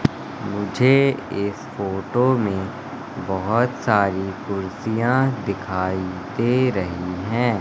मुझे इस फोटो में बहोत सारी कुर्सियां दिखाई दे रही हैं।